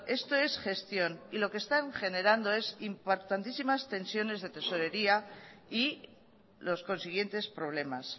esto es gestión y lo que están generando es importantísimas tensiones de tesorería y los consiguientes problemas